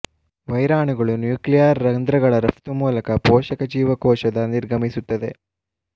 ವೈರಾಣುಗಳು nuclear ರಂಧ್ರಗಳ ರಫ್ತು ಮೂಲಕ ಪೋಷಕ ಜೀವಕೋಶದ ನಿರ್ಗಮಿಸುತ್ತದೆ